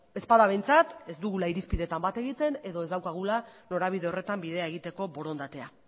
ez bada behintzat ez dugula irizpidetan bat egiten edo ez daukagula norabide horretan bidea egiteko borondatea